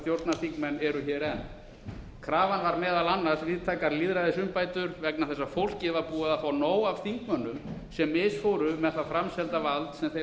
stjórnarþingmenn eru hér enn krafan var meðal annars víðtækar lýðræðisumbætur vegna þess að fólkið var búið að fá nóg af þingmönnum sem við fórum með það framselda vald sem þeim